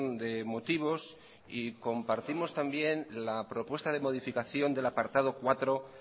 de motivos y compartimos también la propuesta de modificación del apartado cuatro